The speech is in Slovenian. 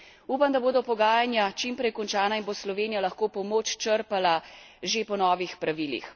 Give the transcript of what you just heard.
Upam, da bodo pogajanja čim prej končana in bo Slovenija lahko pomoč črpala že po novih pravilih.